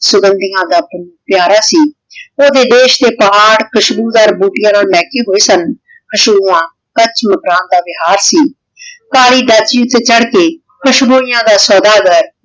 ਸੁਰੰਦੀ ਵਤਨ ਪਾਯ੍ਤਾਰਾ ਸੀ ਓਹਦੇ ਦੇਸ਼ ਦੇ ਪਹਰ ਖੁਸ਼ਬੂ ਦਰ ਬੋਤਿਯਾਂ ਨਾਲ ਲੇਹ੍ਕਾਯ ਹੋਆਯ ਸਨ ਕਚ ਮਕਰਾਨ ਦਾ ਵਿਹਾਰ ਸੀ ਕਾਲੀ ਡਾਚੀ ਊਟੀ ਚਾਢ਼ ਕੇ ਖੁਸ੍ਬੋਇਯਾਨ ਦਾ ਸੋਦਾਗਰ